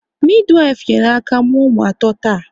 Midiwifu nyere aka mụọ ụmụ ato taa